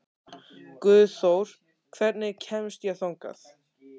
Guðþór, hvernig kemst ég þangað?